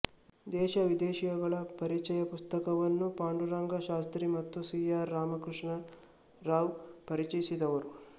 ದೇಶವಿದೇಶಗಳ ಪರಿಚಯ ಪುಸ್ತಕವನ್ನು ಪಾಂಡುರಂಗ ಶಾಸ್ತ್ರೀ ಮತ್ತು ಸಿ ಆರ್ ಕೃಷ್ಣರಾವ್ ಪರಿಚಯಿಸಿದವರು